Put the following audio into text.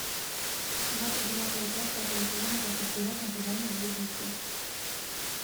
двадцать девятая часть пятого сезона как избежать наказания за убийство